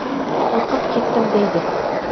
Qo‘rqib ketdim”, deydi.